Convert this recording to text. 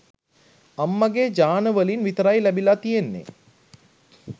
අම්මගේ ජාන වලින් විතරයි ලැබිලා තියෙන්නේ